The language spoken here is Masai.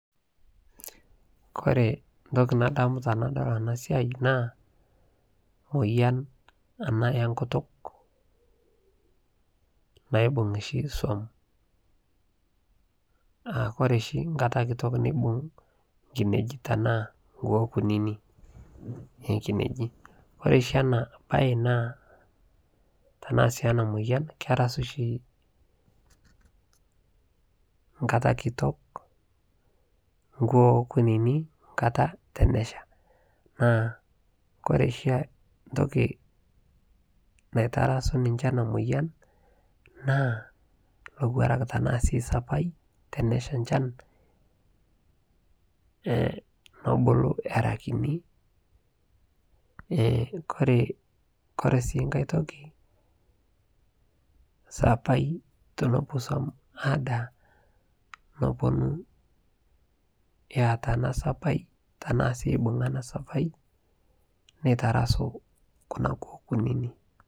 kore ntoki nadamu tanadol ana siai naa moyan anaa enkutuk naibung shi suom aa kore shi nkataa kitok neibung nkineji tanaa nkuo kunini ekineji kore shi ana bai naa tanaa si ana moyan kerasu shi nkata kitok nkuo kunini nkata tenesha naa kore shi ntoki naitarasu ninshe ana moyan naa lowarak tanaa sii sapai tenesha nchan nebuku era kinii kore sii nghai toki sapai tenepuo suom adaa neponuu eata ana sapai tanaa sii eibunga ana sapai naitarasuu kuna kuo kunini.